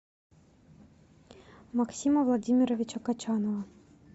максима владимировича качанова